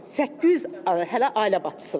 Səkkiz yüz hələ ailə başçısı var.